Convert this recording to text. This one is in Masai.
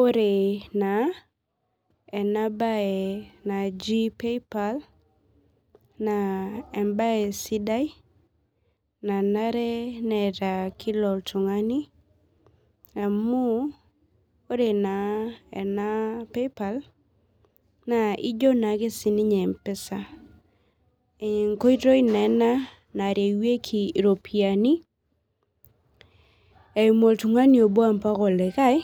Ore na enabae naji paypal na embae sidai nanare neeta kila oltungani amu ore na ena PayPal na ino naake empesa enkoitoi naa ena narewaieki ropiyani eimu oltungani obo mbaja olikae